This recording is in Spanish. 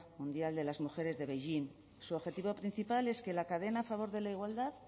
mundial de las mujeres de beijing su objetivo principal es que la cadena a favor de la igualdad